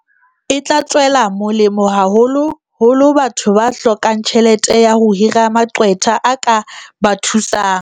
E tla tswela molemo haholo holo batho ba hlokang tjhelete ya ho hira maqwetha a ka ba thusang.